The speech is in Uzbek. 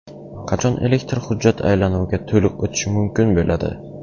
Qachon elektron hujjat aylanuviga to‘liq o‘tish mumkin bo‘ladi?